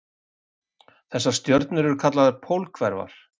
Þessar stjörnur eru kallaðar pólhverfar.